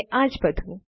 અને આજ બધું